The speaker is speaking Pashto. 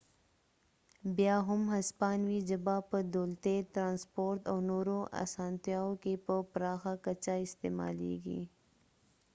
بیا هم هسپانوي ژبه په دولتي ترانسپورت او نورو اسانتیاو کې په پراخه کچه استعمالیږي